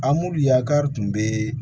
A muluya kari tun bɛ